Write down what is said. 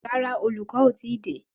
Rárá, olùkọ́ o tíì dé.